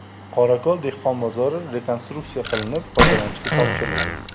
Qorako‘l dehqon bozori rekonstruksiya qilinib, foydalanishga topshirildi.